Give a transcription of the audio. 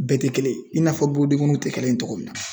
Bɛɛ te kelen i n'a fɔ borodenkɔnnuw te kelen ye togo min na